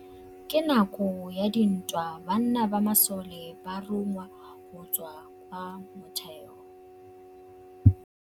Ka nakô ya dintwa banna ba masole ba rongwa go tswa kwa mothêô.